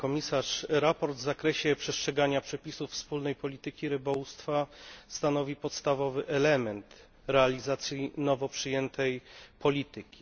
Sprawozdanie w zakresie przestrzegania przepisów wspólnej polityki rybołówstwa stanowi podstawowy element realizacji nowo przyjętej polityki.